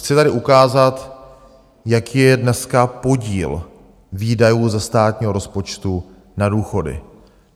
Chci tady ukázat, jaký je dneska podíl výdajů ze státního rozpočtu na důchody.